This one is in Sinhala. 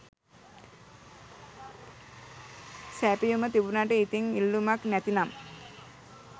සැපයුම තිබුණට ඉතිං ඉල්ලුමක් නැතිනම්